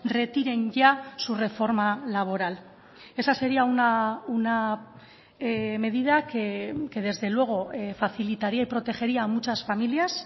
retiren ya su reforma laboral esa sería una medida que desde luego facilitaría y protegería a muchas familias